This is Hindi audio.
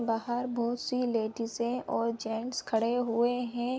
बाहर बहोत सी लडीसे और जेंट्स खड़े हुए हैं।